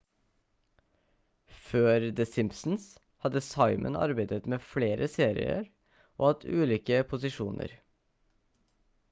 før the simpsons hadde simon arbeidet med flere serier og hatt ulike posisjoner